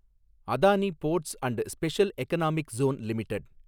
Adani ports and special economic zone limited